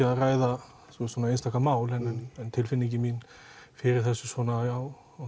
að ræða svona einstaka mál en tilfinningin mín fyrir þessu á